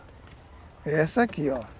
É essa aqui, ó.